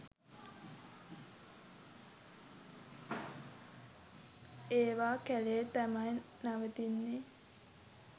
ඒවා කැලේ තමයි නවතින්නෙ.